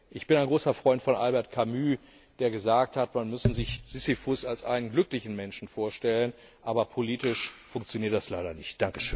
Ich bin ein großer Freund von Albert Camus, der gesagt hat, man müsse sich Sisyphus als einen glücklichen Menschen vorstellen. Aber politisch funktioniert das leider nicht.